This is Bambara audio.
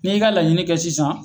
N'i y'i ka laɲini kɛ sisan